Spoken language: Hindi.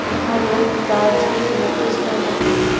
यहां लोग डांस की प्रैक्टिस रहे हैं।